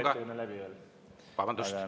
Ettekanne ei ole veel läbi.